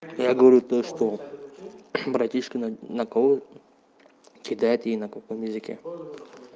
я говорю то что братишка на кидает ей на каком языке